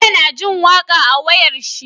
Bello na jin waƙa a wayar shi